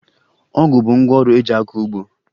Ọgụ bụ ngwaọrụ eji akọ ugbo